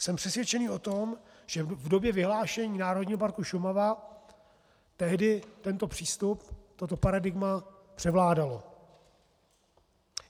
Jsem přesvědčený o tom, že v době vyhlášení Národního parku Šumava tehdy tento přístup, toto paradigma převládalo.